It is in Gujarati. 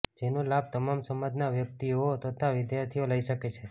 જેનો લાભ તમામ સમાજના વ્યકિતઓ તથા વિદ્યાર્થીઓ લઇ શકે છે